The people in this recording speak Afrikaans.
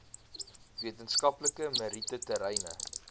wetenskaplike meriete terreine